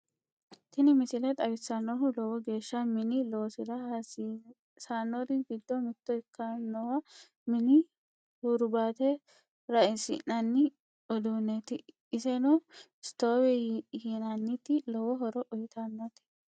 Tiini miisile xaawisannohu loowo geesha miini loosira haasisanori giido miito ekkinoha miini huurbate raaisinani uuduneti eesseno stovee yiinanite loowo hooro uuytanote.